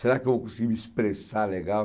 Será que eu vou conseguir me expressar legal?